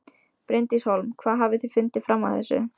Bryndís Hólm: Hvað hafið þið fundið fram að þessu?